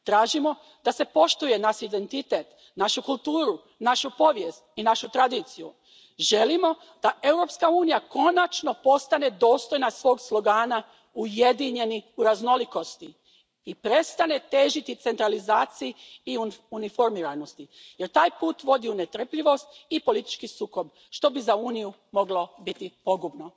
Tražimo da se poštuje naš identitet, našu kulturu, našu povijest i našu tradiciju. Želimo da Europska unija konačno postane dostojna svog slogana ujedinjeni u raznolikosti i prestane težiti centralizaciji i uniformiranosti jer taj put vodi u netrpljivost i politički sukob, što bi za Uniju moglo biti pogubno.